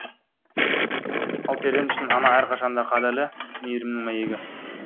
ал перзент үшін ана әрқашан да қадірлі мейірімнің мәйегі